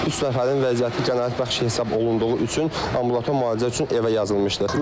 Üç nəfərin vəziyyəti qənaətbəxş hesab olunduğu üçün ambulator müalicə üçün evə yazılmışdı.